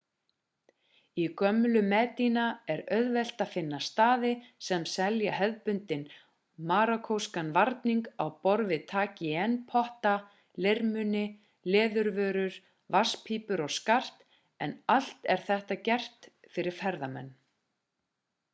í gömlu medina er auðvelt að finna staði sem selja hefðbundinn marokkóskan varning á borð við tagine-potta leirmuni leðurvörur vatnspípur og skart en allt er þetta gert fyrir ferðamenn